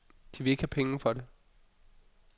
De vil ikke have penge for det.